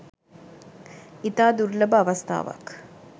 ඉතා දුර්ලභ අවස්ථාවක්